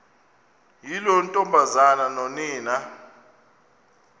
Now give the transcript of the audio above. yiloo ntombazana nonina